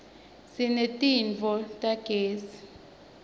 sineti tofu tagezi